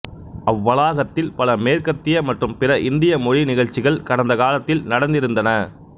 அவ்வளாகத்தில் பல மேற்கத்திய மற்றும் பிற இந்திய மொழி நிகழ்ச்சிகள் கடந்த காலத்தில் நடந்திருந்தன